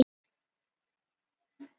Ég sneri strax við.